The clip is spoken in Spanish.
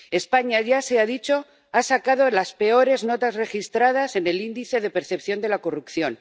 España ―ya se ha dicho― ha sacado las peores notas registradas en el Índice de Percepción de la Corrupción.